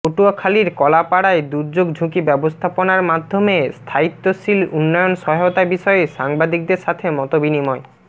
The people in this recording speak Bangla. পটুয়াখালীর কলাপাড়ায় দুর্যোগ ঝুঁকি ব্যবস্থাপনার মাধ্যমে স্থায়ীত্বশীল উন্নয়ন সহায়তা বিষয়ে সাংবাদিকদের সাথে মতবিনিময়